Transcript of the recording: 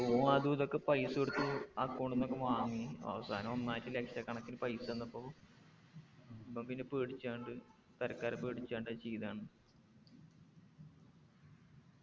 ഓൻ അതും ഇതൊക്കെ പൈസ കൊടുത്തു account ന്നൊക്കെ വാങ്ങി അവസാനം ഒന്നായിറ്റ് ലക്ഷക്കണക്കിന് പൈസ വന്നപ്പോ പ്പോ പിന്നെ പേടിച്ചാങ്ണ്ട് പെരക്കാരെ പേടിച്ചാങ്ണ്ട് അത് ചെയ്താണ്